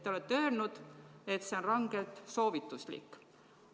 Te olete öelnud, et see on rangelt soovituslik.